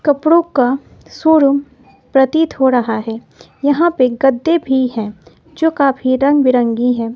कपड़ों का शोरूम प्रतीत हो रहा है यहां पे गद्दे भी है जो काफी रंग बिरंगी है।